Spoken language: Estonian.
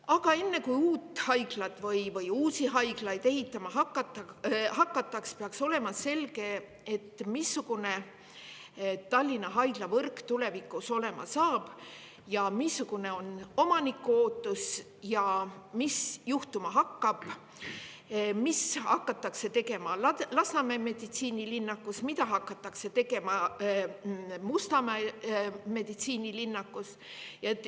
Aga enne, kui uut haiglat või uusi haiglaid ehitama hakatakse, peaks olema selge, missugune Tallinna haiglavõrk tulevikus on, missugune on omaniku ootus ja mis juhtuma hakkab, mida hakatakse tegema Lasnamäe meditsiinilinnakus ning mida hakatakse tegema Mustamäe meditsiinilinnakus.